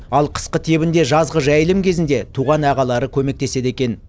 ал қысқы тебінде жазғы жайылым кезінде туған ағалары көмектеседі екен